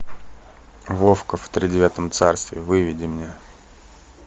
вовка в тридевятом царстве выведи мне